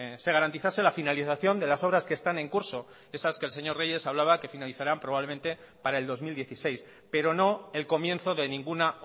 se garantizase la finalización de las obras que están en curso esas que el señor reyes hablaba que finalizarán probablemente para el dos mil dieciséis pero no el comienzo de ninguna